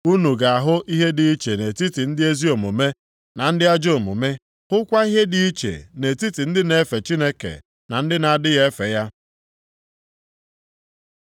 Unu ga-ahụ ihe dị iche nʼetiti ndị ezi omume na ndị ajọ omume, hụkwa ihe dị iche nʼetiti ndị na-efe Chineke na ndị na-adịghị efe ya.